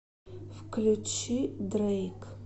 включи дрейк